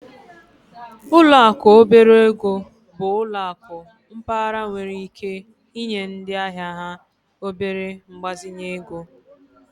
Ụlọ akụ obere ego bụ ụlọ akụ mpaghara nwere ike inye ndị ahịa ha obere mgbazinye ego